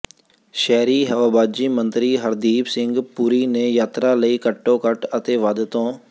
ਸ਼ਹਿਰੀ ਹਵਾਬਾਜ਼ੀ ਮੰਤਰੀ ਹਰਦੀਪ ਸਿੰਘ ਪੁਰੀ ਨੇ ਯਾਤਰਾ ਲਈ ਘੱਟੋ ਘੱਟ ਅਤੇ ਵੱਧ ਤੋਂ